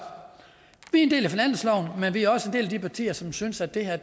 en del af finansloven men vi er også en del af de partier som synes at det her